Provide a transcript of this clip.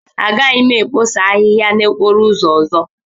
Agaghị m ekposa ahịhịa n'okporo ụzọ ọzọ.